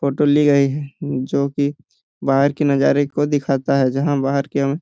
photo ले गई है जो कि बाहर की नजारे को दिखाता है जहां बाहर की --